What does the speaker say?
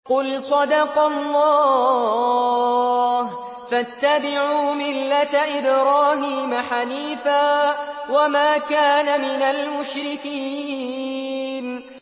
قُلْ صَدَقَ اللَّهُ ۗ فَاتَّبِعُوا مِلَّةَ إِبْرَاهِيمَ حَنِيفًا وَمَا كَانَ مِنَ الْمُشْرِكِينَ